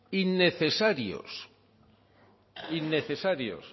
innecesarios innecesarios